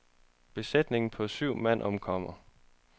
Besætningen på syv mand omkommer.